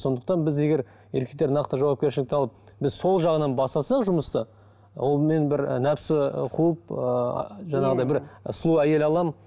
сондықтан біз егер еркектер нақты жауапкершілікті алып біз сол жағынан бастасақ жұмысты ол мен бір і нәпсі ііі қуып ііі жаңағыдай бір сұлу әйел аламын